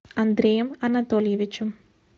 андреем анатольевичем